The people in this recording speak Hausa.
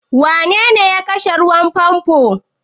Wanene ya kashe ruwan famfo?